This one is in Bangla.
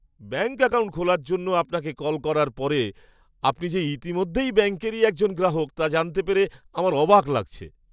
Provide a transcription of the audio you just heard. ব্যাঙ্ক অ্যাকাউন্ট খোলার জন্য আপনাকে কল করার পরে আপনি যে ইতিমধ্যেই ব্যাঙ্কেরই একজন গ্রাহক তা জানতে পেরে আমার অবাক লাগছে!